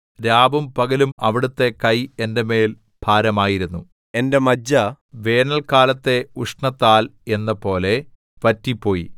രാവും പകലും അവിടുത്തെ കൈ എന്റെ മേൽ ഭാരമായിരുന്നു എന്റെ മജ്ജ വേനല്ക്കാലത്തെ ഉഷ്ണത്താൽ എന്നപോലെ വറ്റിപ്പോയി സേലാ